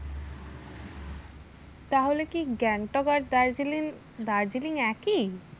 তাহলে কি গ্যাংটক আর দার্জিলিং, দার্জিলিং একই?